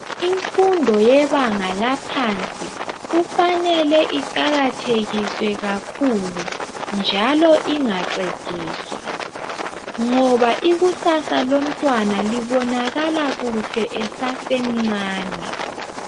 Imfundo yebanga laphansi kufanele iqakathekiswe kakhulu njalo ingaxegiswa. Ngoba ikusasa lomntwana libonakala kuhle esasemncane.